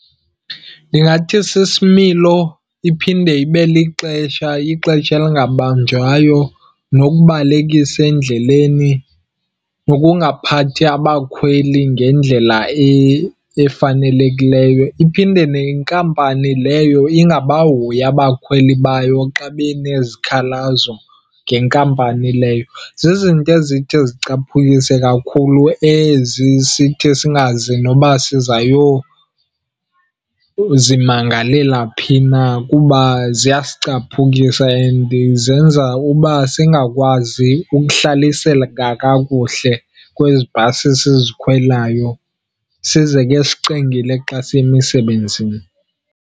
Ndingathi sisimilo, iphinde ibe lixesha, ixesha elingabanjwayo nokubalekisa endleleni, nokungaphathi abakhweli ngendlela efanelekileyo. Iphinde nenkampani leyo ingabahoyi abakhweli bayo xa benezikhalazo ngenkampani leyo. Zizinto ezithi zicaphukise kakhulu ezi. Sithi singazi noba sizayozimangalela phi na kuba ziyasicaphukisa and zenza uba singakwazi ukuhlaliseka kakuhle kwezi bhasi sizikhwelayo, size ke sicingile xa siya emisebenzini.